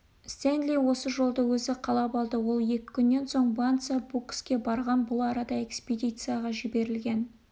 стенли осы жолды өзі қалап алды ол екі күннен соң банца-мбукске барған бұл арада экспедицияға жіберілген